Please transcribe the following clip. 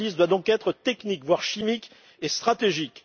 L'analyse doit donc être technique, voire chimique et stratégique.